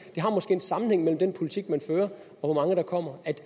en sammenhæng mellem den politik man fører og hvor mange der kommer